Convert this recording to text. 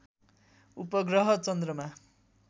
उपग्रह चन्द्रमा